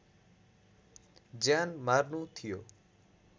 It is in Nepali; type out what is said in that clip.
ज्यान मार्नु थियो